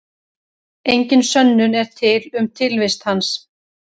Engin sönnun er til um tilvist hans.